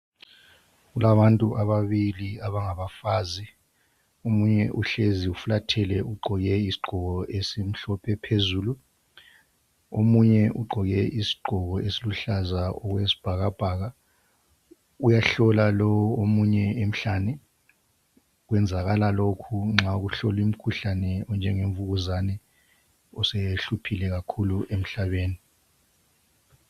Kulababantu ababili abangabafazi, omunye uhlezi ufulathele uqgoke, isiqgoko esimhlophe phezulu, omunye uqgoke isiqgoko esiluhlaza okwesibhakabhaka uyahlola lo omunye emhlane, kwenzakala lokhu nxa kuhlolwimkhuhlane onjengemvukuzane osehluphile kakhulu emhlabeni.